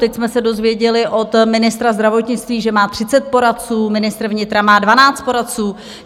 Teď jsme se dozvěděli od ministra zdravotnictví, že má 30 poradců, ministr vnitra má 12 poradců.